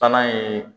Taa ye